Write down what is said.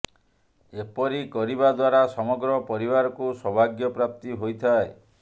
ଏପରି କରିବା ଦ୍ୱାରା ସମଗ୍ର ପରିବାରକୁ ସୌଭାଗ୍ୟ ପ୍ରାପ୍ତି ହୋଇଥାଏ